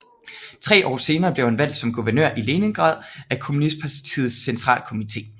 Tre år senere blev han valgt som guvernør i Leningrad af kommunistpartiets centrakomité